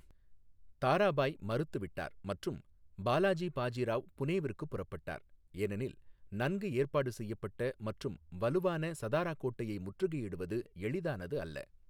தாராபாய் மறுத்துவிட்டார் மற்றும் பாலாஜி பாஜி ராவ் புனேவிற்கு புறப்பட்டார், ஏனெனில் நன்கு ஏற்பாடு செய்யப்பட்ட மற்றும் வலுவான சதாராக் கோட்டையை முற்றுகையிடுவது எளிதானது அல்ல.